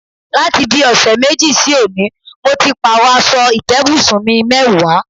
Láti bí ò̩sè̩ méjì sí òní, mo ti pààrò̩ as̩o̩ ìté̩bùsùn mi mé̩wàá.